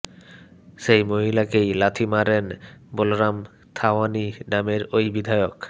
সেই মহিলাকেই লাথি মারেন বলরাম থাওয়ানি নামের ওই বিধায়ক